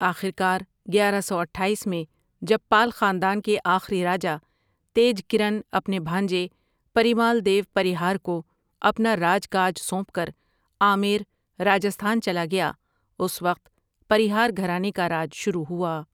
آخر کار گیارہ سو اٹھایس میں جب پال خاندان کے آخری راجہ تیج کرن اپنے بھانجے پریمال دیو پریہار کو اپنا راج کاج سونپ کر آمیر راجھستان چلا گیا اس وقت پریہار گھرانے کا راج شروع ہوا،